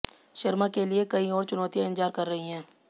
शर्मा के लिए कई और चुनौतियां इंतजार कर रहीं हैं